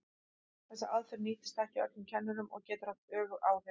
Þessi aðferð nýtist ekki öllum kennurum og getur haft öfug áhrif.